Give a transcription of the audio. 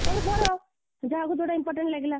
ତାହେଲେ କର ଯାହାକୁ ଯୋଉଟା important ଲାଗିଲା